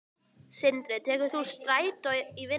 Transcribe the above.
Sindri: Tekur þú strætó í vinnuna?